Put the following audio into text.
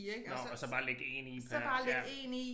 Nåh og så bare lægge 1 i per ja